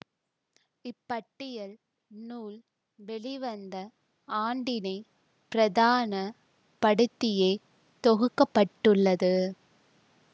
இப்பட்டியல் நூல் வெளிவந்த ஆண்டினை பிரதான படுத்தியே தொகுக்க பட்டுள்ளது